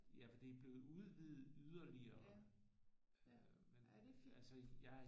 Ja for det er blevet udvidet yderligere men altså jeg